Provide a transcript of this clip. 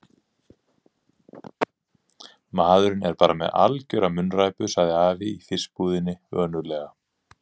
Maðurinn er bara með algjöra munnræpu sagði afi í fiskbúðinni önuglega.